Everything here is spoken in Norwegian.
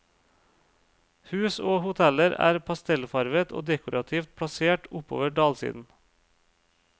Hus og hoteller er pastellfarvet og dekorativt plassert oppover dalsiden.